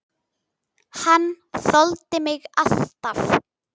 Hann þoldi mig alltaf.